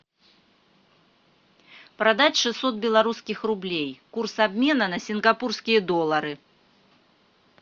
продать шестьсот белорусских рублей курс обмена на сингапурские доллары